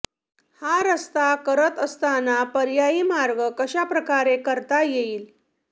हा रस्ता करत असताना पर्यायी मार्ग कशा प्रकारे करता येईल